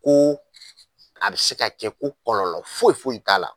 Ko a bɛ se ka kɛ ko kɔlɔlɔ foyi foyi t'a la.